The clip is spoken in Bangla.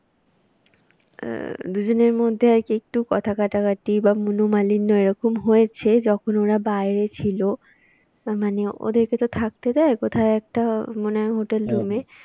আহ দুজনের মধ্যে আর কি একটু কথা কাটাকাটি বা মনোমালিন্য এরকম হয়েছে যখন ওরা বাইরে ছিল। না মানে ওদেরকে তো থাকতে দেয় কোথায় একটা মনে হয় hotel room এ